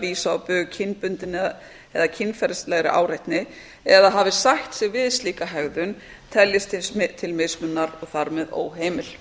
vísað á bug kynbundinni eða kynferðislegri áreitni eða hafi sætt sig við slíka hegðun teljist til mismununar og þar með óheimil